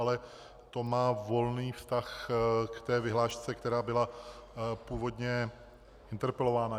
Ale to má volný vztah k té vyhlášce, která byla původně interpelována.